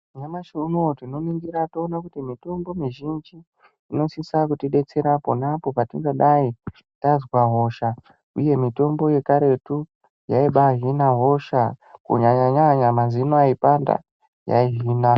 Nyamashi unowu tinoningira toone kuti mitombo mizhinji inosisa kutidetsera ponapo patinodai tazwa hosha, uye mitombo yekaretu yaibahina hosha kunyanya nyanya mazino aipanda, yaihina.